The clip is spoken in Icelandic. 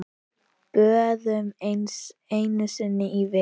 Böðun einu sinni í viku!